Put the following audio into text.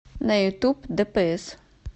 на ютуб дэпээс